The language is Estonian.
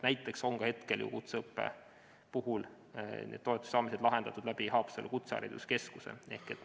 Näiteks on hetkel kutseõppe puhul need toetuste saamised lahendatud Haapsalu Kutsehariduskeskuse kaudu.